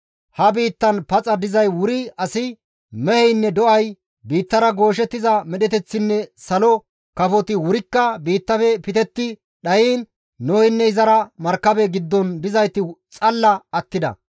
Ha biittan paxa dizay wuri asi, meheynne do7ay, biittara gooshettiza medheteththinne salo kafoti wurikka biittafe pitetti dhayiin Noheynne izara markabe giddon dizayti xalla attida.